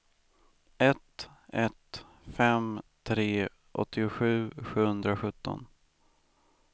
ett ett fem tre åttiosju sjuhundrasjutton